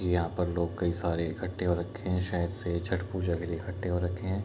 यहाँ पे लोग कई सारे लोग इक्कठे हो रखे हैं शायद से छठ पूजा के लिए इक्क्ठे हो रखे हैं।